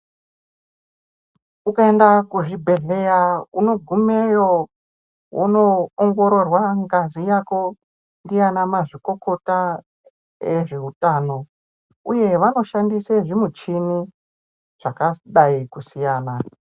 Ukaenda kuzvibhedhleya unogumeyo wonoongororwa ngazi yako ndiana mazvikokota ezveutano. Uye vanoshandise zvimuchini zvakadai kusiyana.